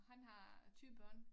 Han har 2 børn